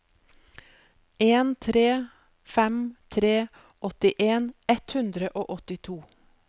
en tre fem tre åttien ett hundre og åttito